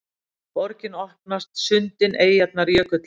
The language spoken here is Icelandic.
Borgin opnast: sundin, eyjarnar, jökullinn